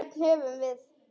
Hvern höfðum við?